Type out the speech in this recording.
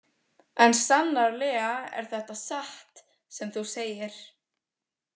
En sannarlega er þetta satt sem þú segir.